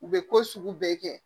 U bɛ ko sugu bɛɛ kɛ